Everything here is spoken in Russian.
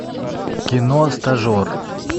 кино стажер